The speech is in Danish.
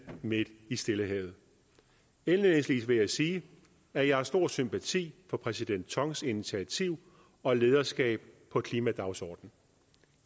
midt i stillehavet indledningsvis vil jeg sige at jeg har stor sympati for præsident tongs initiativ og lederskab på klimadagsordenen